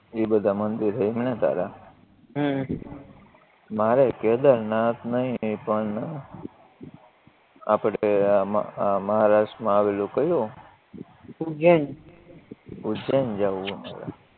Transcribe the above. ઇ બધા મંદિર છે એમ ને તારે હમ મારેય કેદારનાથ નય પણ આપણે આ મહારાષ્ટ્રમાં આવેલુ કયું ઉજૈન ઉજૈન જાવું હે મારે